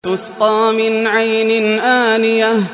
تُسْقَىٰ مِنْ عَيْنٍ آنِيَةٍ